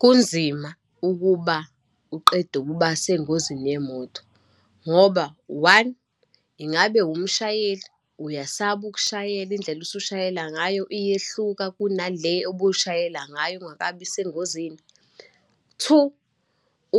Kunzima ukuba uqeda ukuba sengozini yemoto ngoba, one, ingabe umshayeli, uyasaba ukushayela, indlela usushayela ngayo iyehluka kuna le ubushayela ngayo ungakabi sengozini, two,